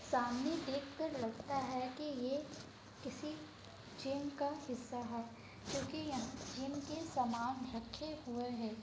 सामने देखकर लगता है कि ये किसी जिम का हिस्सा है क्योंकि यहाँ जिम के सामान रखे हुए हैं।